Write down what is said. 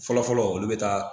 Fɔlɔ fɔlɔ olu bɛ taa